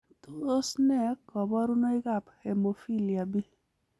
Tos nee koborunoikab Hemophilia B?